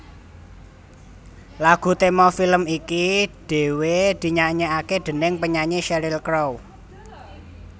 Lagu tema film iki dhéwé dinyanyèkaké déning penyanyi Sheryl Crow